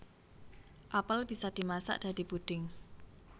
Apel bisa dimasak dadi puding